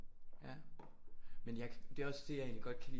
Ja men jeg det er også det jeg egentlig godt kan lide